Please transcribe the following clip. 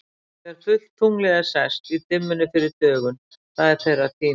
Þegar fullt tunglið er sest, í dimmunni fyrir dögun, það er þeirra tími.